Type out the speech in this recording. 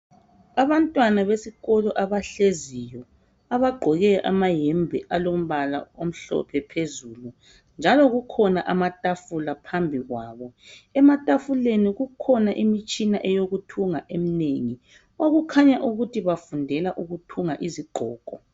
Abantwana besikolo abahleziyo, abagqoke amayembe alombala omhlophe phezulu njalo kukhona amatafula phambi kwabo. Ematafuleni kukhona imitshina eyokuthunga eminengi. Okukhanya ukuthi bafundela ukuthunga izigqoko.